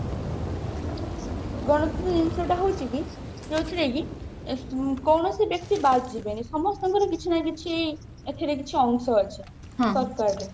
ଜିନିଷ ଟା ହଉଛି କି ଯୋଉଥିରେ କି କୌଣସି ବ୍ୟକ୍ତି ବାଦ ଯିବନି ସମସ୍ତଙ୍କର କିଛି ନା କିଛି ଏଥିରେ କିଛି ଅଂଶ ଅଛି